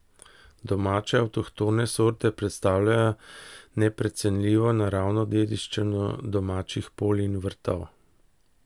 Domače avtohtone sorte predstavljajo neprecenljivo naravno dediščino domačih polj in vrtov.